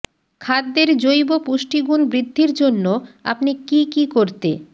খাদ্যের জৈব পুষ্টিগুণ বৃদ্ধির জন্য আপনি কী কী করতে